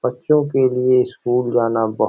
बच्चो के लिए स्कूल जाना बहोत --